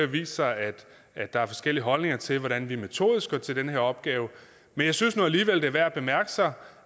vist sig at der er forskellige holdninger til hvordan vi metodisk går til den her opgave men jeg synes nu alligevel at det er værd at bemærke